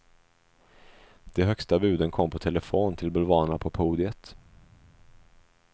De högsta buden kom på telefon till bulvanerna på podiet.